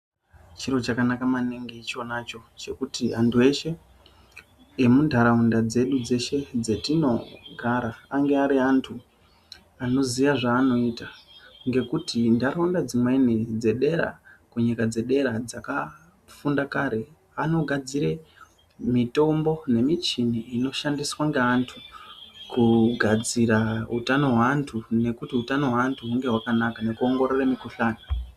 Chiro chakanaka maningi ichona cho chekuti antu eshe emunharaunda dzedu dzeshe dzetinogara ange ari antu anoziya zvaanoita. Ngekuti nharaunda dzimweni dzedera, kunyika dzedera dzakafunda kare. Anogadzira mitombo nemuchini inoshandiswa ngeantu kugadzira utano hweantu nekuti utano hweantu hunge hwakanaka nekuongorora mukhuhlani.